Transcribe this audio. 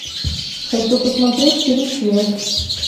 хочу посмотреть фильм связь